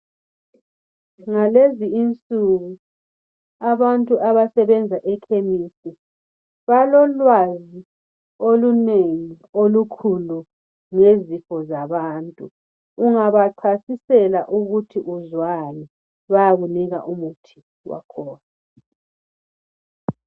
Ngalezi insuku abantu abasebenza ekiliniki balolwazi olunengi olukhulu ngezifo zabantu ungabachasisela ukuthi uzwani bayakunika umuthi wakhona.